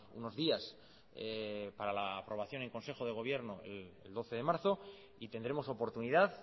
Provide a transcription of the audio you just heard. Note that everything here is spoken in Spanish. unos días para la aprobación en consejo de gobierno el doce de marzo y tendremos oportunidad